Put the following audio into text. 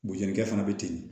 Bojanikɛ fana be ten